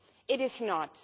It is not.